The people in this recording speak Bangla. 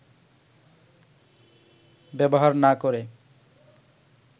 ব্যবহার না করে